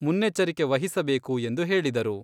ಮುನ್ನೆಚ್ಚರಿಕೆ ವಹಿಸಬೇಕು ಎಂದು ಹೇಳಿದರು.